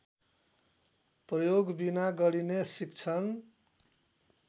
प्रयोगबिना गरिने शिक्षण